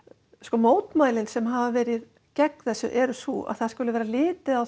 mótmælin sem hafa verið gegn þessu frumvarpi eru sú að það sé litið á